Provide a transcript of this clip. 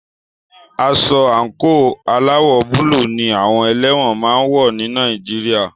Aṣọ àńkò aláwọ̀ búlù ní àwọn ẹlẹ́wọ̀n máà ń wọ́ ní Nàìjíríà.